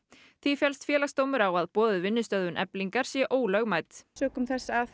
því fellst Félagsdómur á að boðuð vinnustöðvun Eflingar sé ólögmæt sökum þess að